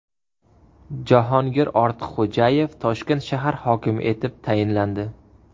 Jahongir Ortiqxo‘jayev Toshkent shahar hokimi etib tayinlandi .